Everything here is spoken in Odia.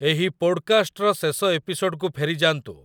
ଏହି ପୋଡ଼୍‌କାଷ୍ଟ୍‌ର ଶେଷ ଏପିସୋଡ଼୍‌କୁ ଫେରିଯାଆନ୍ତୁ